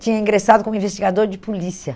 tinha ingressado como investigador de polícia.